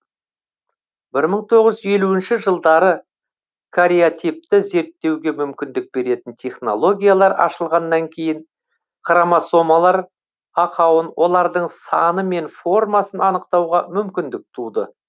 бір мың тоғыз жүз елуінші жылдары кариотипті зерттеуге мүмкіндік беретін технологиялар ашылғаннан кейін хромосомалар ақауын олардың саны мен формасын анықтауға мүмкіндік туды